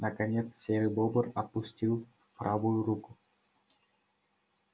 наконец серый бобр опустил правую руку